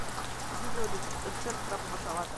видео рецепт крабового салата